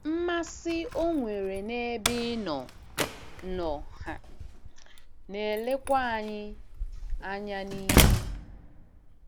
Mmasị o nwere n'ebe ị nọ nọ um na-elekwa anya n'ihu.